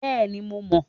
Bẹẹni, Mo mọ